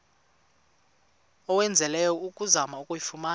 owenzileyo ukuzama ukuyifumana